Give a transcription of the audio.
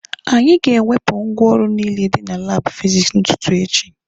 Anyị ga-ewepụ ngwaọrụ niile dị na laabụ fizikisi n'ụtụtụ echi.